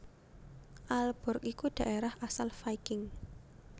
Aalborg iku dhaérah asal Viking